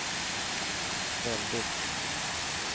väldigt